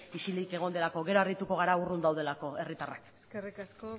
isilik egon delako gero harrituko gara urrun daudelako herritarrak eskerrik asko